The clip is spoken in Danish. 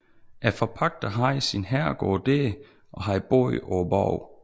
Forpagteren havde sin herregård der og har boet på borgen